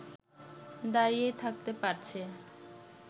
দাঁড়িয়ে থাকতে পারছে